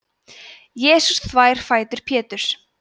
jesús þvær fætur péturs